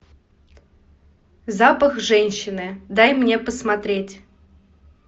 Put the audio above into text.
запах женщины дай мне посмотреть